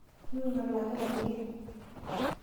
Minyaal ake enkike.